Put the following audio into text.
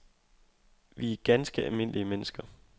Vi er ganske almindelige mennesker.